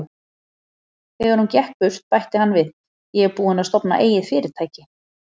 Þegar hún gekk burt, bætti hann við: Ég er búinn að stofna eigið fyrirtæki.